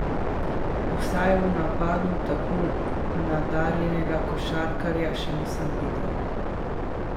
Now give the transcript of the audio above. Vsaj v napadu tako nadarjenega košarkarja še nisem videl.